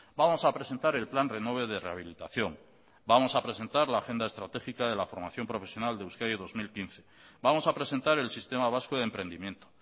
vamos a presentar el plan renove de rehabilitación vamos a presentar la agenda estratégica de la formación profesional de euskadi dos mil quince vamos a presentar el sistema vasco de emprendimiento